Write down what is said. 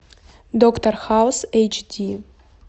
доктор хаус эйч ди